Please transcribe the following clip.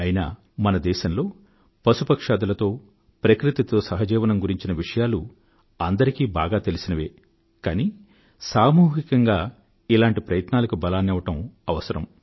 అయినా మన దేశంలో పశు పక్ష్యాదులతో ప్రకృతితో సహజీవనం గురించిన విషయాలు అందరికీ బాగా తెలిసినవే కానీ సామూహికంగా ఇలాంటి ప్రయత్నాలకు బలాన్నివ్వడం అవసరం